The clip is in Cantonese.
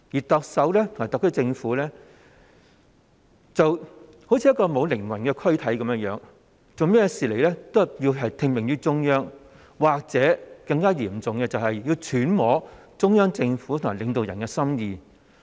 特首和特區政府就像一具沒有靈魂的軀體般，任何事情也要聽命於中央，或更加嚴重的情況，就是要揣摩中央政府和領導人的心意。